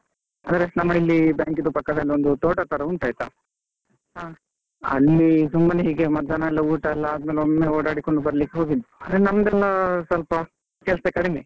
ಅಂದ್ರೆ ನಮಗಿಲ್ಲಿ bank ಇದ್ದು ಪಕ್ಕದಲ್ಲಿ ಒಂದು ತೋಟ ತರ ಉಂಟು ಆಯ್ತಾ ಸುಮ್ಮನೆ ಹೀಗೆ ಮಧ್ಯಾಹ್ನಯೆಲ್ಲ ಊಟ ಎಲ್ಲಾ ಆದ್ಮೇಲೆ ಒಮ್ಮೆ ಓಡಾಡಿಕೊಂಡು ಬರಲಿಕ್ಕೆ ಹೋಗಿದ್ವಿ, ಅಂದ್ರೆ ನಮ್ದಲ್ಲ ಸ್ವಲ್ಪ ಕೆಲ್ಸ ಕಡಿಮೆ.